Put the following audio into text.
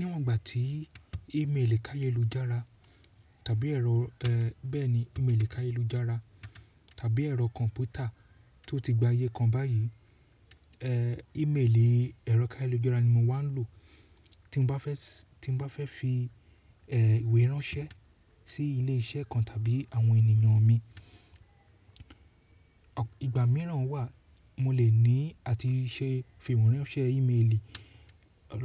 Níwọ̀n ìgbà tí ímélì káyélujára tàbí ẹ̀rọ kọ̀m̀pútà tó ti gba ayé kan báyìí. Ímélìi ẹ̀rọ káyélujára ni mo máa ń lò tí mo bá fẹ́ fi ìwé ránṣẹ́ sí ilé iṣẹ́ kan tàbí àwọn ènìyàn mi. Ìgbà mìíràn wà, mo lè fi ìwé ránṣẹ́ ímélì